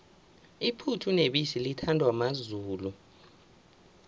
iphuthu nebisi lithandwa mazulu